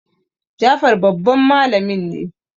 Jafar babban malamin ne